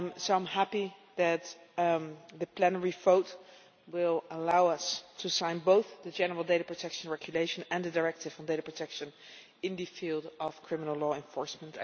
I am happy that the plenary vote will allow us to sign both the general data protection regulation and the directive on data protection in the field of criminal law enforcement.